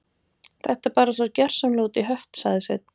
Þetta er bara svo gjörsamlega út í hött sagði Svein